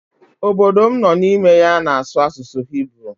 Obodo m nụ n'ime ya na-asụ asụsụ hiburu.